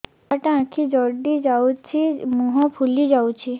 ଛୁଆଟା ଆଖି ଜଡ଼ି ଯାଉଛି ମୁହଁ ଫୁଲି ଯାଉଛି